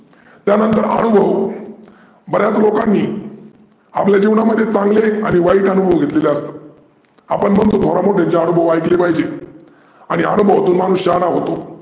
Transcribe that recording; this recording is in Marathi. त्या नंतर आनूभव बऱ्याच लोकानी आपल्या जिवनात चांगले आणि वाईट अनूभव घेतलेले असतात आपण म्हणतो थोरा मोठ्यांचे आनूभव ऐकले पाहीजे आणि आनूभवातून माणूस शहाना होतो